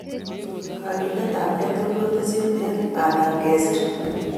Kakiletapkei age tugul ko tesyin eng pandap kesir